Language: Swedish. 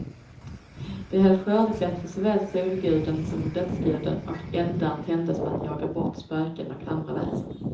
De höll skördefest för såväl solguden som dödsguden, och eldar tändes för att jaga bort spöken och andra väsen.